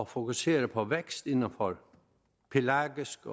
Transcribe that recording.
fokuserer på vækst inden for pelagisk